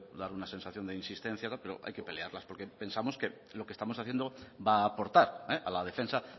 dar una sensación de insistencia pero hay que pelearlas porque pensamos que lo que estamos haciendo va a aportar a la defensa